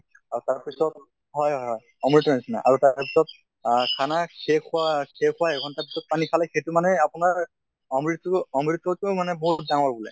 আৰু তাৰ পিছত হয় হয় হয় অমৃতৰ নিছিনা আৰু তাৰ পিছত আহ খানা শেষ হোৱা শেষ হোৱা এঘন্টা পিছত পানী খালে সেইটো মানে আপোনাৰ অমৃত টো অমৃতত্কৈ বহুত ডাঙৰ বুলে।